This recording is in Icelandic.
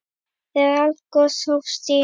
Þegar eldgos hófust í